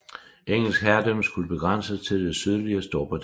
Engelsk herredømme skulle begrænses til det sydlige Storbritannien